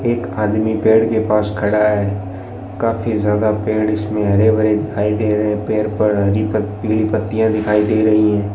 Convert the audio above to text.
एक आदमी पेड़ के पास खड़ा है काफी ज्यादा पेड़ इसमें हरे भरे दिखाई दे रहे हैं पेड़ पर हरी पीली पत्तियां दिखाई दे रही हैं।